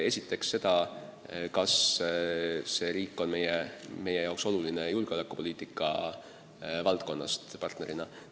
Esiteks seda, kas kandidaatriik on meie jaoks oluline julgeolekupoliitika valdkonna partnerina.